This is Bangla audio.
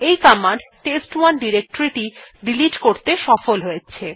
এই কমান্ড টেস্ট1 ডিরেক্টরী টিকে ডিলিট করতে সফল হয়েছে